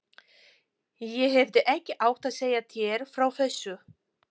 Ég hefði ekki átt að segja þér frá þessu